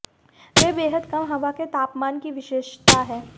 वे बेहद कम हवा के तापमान की विशेषता है